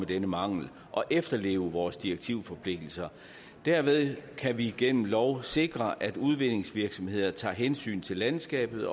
denne mangel og efterleve vores direktivforpligtelser derved kan vi igennem lov sikre at udvindingsvirksomheder tager hensyn til landskabet